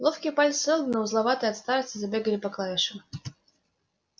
ловкие пальцы сэлдона узловатые от старости забегали по клавишам